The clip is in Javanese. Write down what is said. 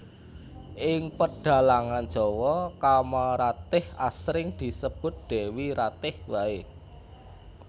Ing pedhalangan Jawa Kamaratih asring disebut Dewi Ratih waé